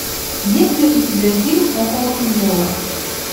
есть ли у тебя фильм около футбола